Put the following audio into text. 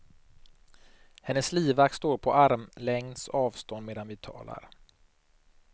Hennes livvakt står på armlängds avstånd medan vi talar.